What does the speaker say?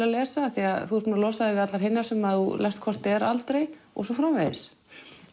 að lesa því þú ert búinn að losa þig við hinar sem þú lest aldrei og svo framvegis